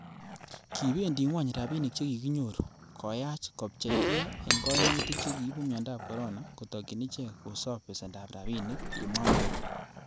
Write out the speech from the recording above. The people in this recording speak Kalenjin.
'Kibendi ngwony rabinik che kikinyoru, koyach kopchei gee en koimutik che kiibu miondab Corona, kotokyin ichek kosob besendab rabinik,''kimwa muren.